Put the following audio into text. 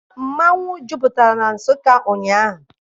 Mmanwụ jupụtara na Nsụka ụnyaahụ.